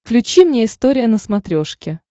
включи мне история на смотрешке